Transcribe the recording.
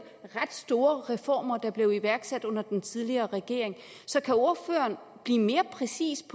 ret store reformer der blev iværksat under den tidligere regering så kan ordføreren blive mere præcis